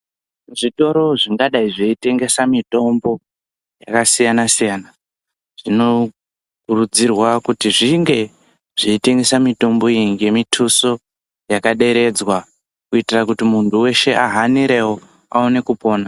Zvitoro zvingadayi zveitengesa mitombo yakasiyana siyana, zvinokurudzirwawo kuzwi zvinge zveitengese mitombo iyi ngemithusu yakaderedzwa kuitira kuti muntu weshe ahanirewo aone kupona.